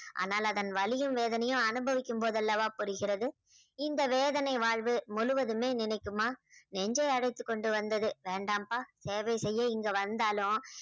ஆனால் அதன் வலியும் வேதனையும் அனுபவிக்கும்போது அல்லவா புரிகிறது. இந்த வேதனை வாழ்வு முழுவதுமே நிலைக்குமா? நெஞ்சை அடைத்து கொண்டு வந்தது வேண்டாம்பா சேவை செய்ய இங்கு வந்தாலும்